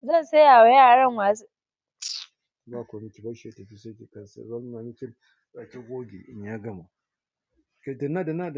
Zan saya wa yaran wasan bidiyo na zamani.